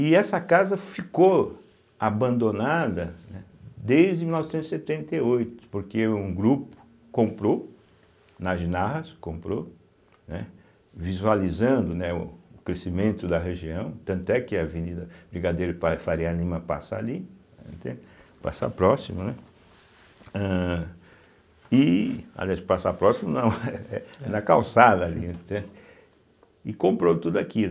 E essa casa ficou abandonada, né, desde mil novecentos e setenta e oito, porque um grupo comprou nas, comprou, né, visualizando né o o crescimento da região, tanto é que a Avenida Brigadeiro para Faria Lima passa ali, né, entende, passa próximo, né, âh e, aliás, passa próximo não, da calçada ali, entende, e comprou tudo aquilo.